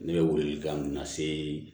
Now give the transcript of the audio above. Ne bɛ welekan mun lase